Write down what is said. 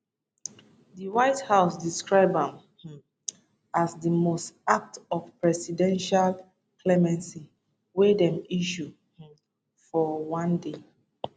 di white house describe am um as di most act of presidential clemency wey dem issue um for one day